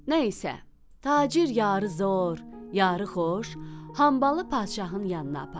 Nə isə, tacir yarı zor, yarı xoş, hambalı padşahın yanına apardı.